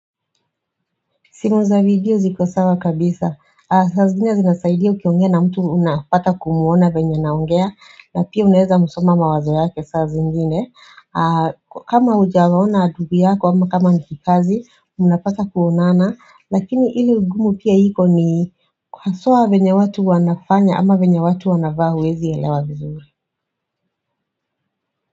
Simu za video ziko sawa kabisa saa zingine zinasaidia ukiongea na mtu unapata kumuona venya anaongea na pia unaeza msoma mawazo yake saa zingine kama hujawaona ndugu yako ama kama nikikazi mnapata kuonana Lakini ile ugumu pia iko ni haswa venye watu wanafanya ama venye watu wanavaa huwezi elewa vizuri.